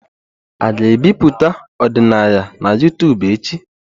A ga-ebipụta ọdịnaya na YouTubu echi?